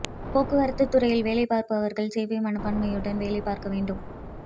போக்குவரத்து துறையில் வேலை பார்ப்பவர்கள் சேவை மனப்பான்மையுடன் வேலை பார்க்க வேண்டும்